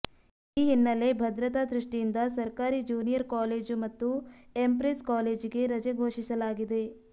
ಈ ಹಿನ್ನೆಲೆ ಭದ್ರತಾ ದೃಷ್ಠಿಯಿಂದ ಸರ್ಕಾರಿ ಜ್ಯೂನಿಯರ್ ಕಾಲೇಜು ಮತ್ತು ಎಂಪ್ರೆಸ್ ಕಾಲೇಜಿಗೆ ರಜೆ ಘೋಷಿಸಲಾಗಿದೆ